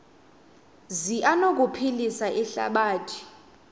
zi anokuphilisa ihlabathi